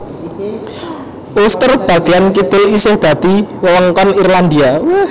Ulster bagéyan kidul isih dadi wewengkon Irlandia